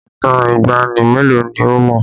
Ìtàn ìgbàanì mélòó ni o mọ̀?